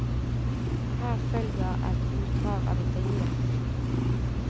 Her følger et utdrag av intervjuet.